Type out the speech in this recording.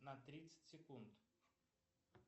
на тридцать секунд